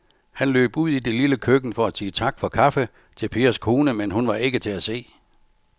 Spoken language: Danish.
Han løb ud i det lille køkken for at sige tak for kaffe til Pers kone, men hun var ikke til at se.